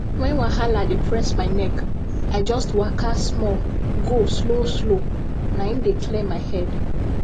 when wahala dey press my neck i just waka small go slow slow na im dey clear my head